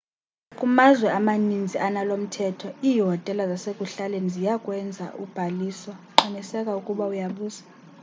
kumazwe amanintsi analomthetho iihotela zasekuhlaleni ziyakwenza ubhaliso qiniseka ukuba uyabuza